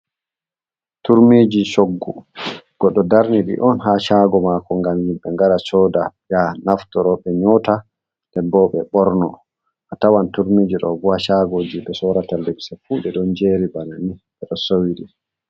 Turmiji choggu goɗɗo darni on ha shago mako ngam himɓe ngara soda ya naftoro ɓe nyota ndenbo ɓe ɓorno. A tawan turmiji bo haa shagoji ɓe sorata limse fu ɓeɗo jeri bana ni ɓe ɗo so'i.